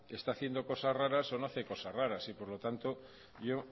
está haciendo cosas raras o no hace cosas raras y por lo tanto yo